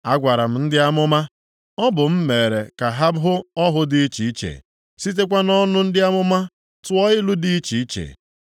A gwara m ndị amụma, ọ bụ m mere ka ha hụ ọhụ dị iche iche, sitekwa nʼọnụ ndị amụma tụọ ilu dị iche iche.”